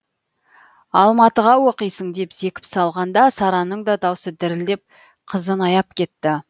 алматыға оқисың деп зекіп салғанда сараның да даусы дірілдеп қызын аяп кетті